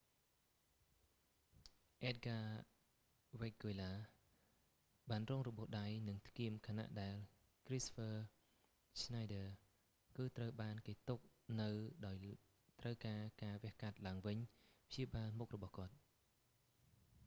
អ៊ែដហ្គា វែគហ្គួយឡា edgar veguilla បានរងរបួសដៃ និងថ្គាមខណៈដែលគ្រីស្តូហ្វឺ ឆ្នៃឌើរ kristoffer schneider គឺត្រូវបានគេទុកនៅដោយត្រូវការការវះកាត់ឡើងវិញព្យាបាលមុខរបស់គាត់